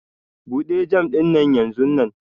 Bude jam dinnan yanzunnan!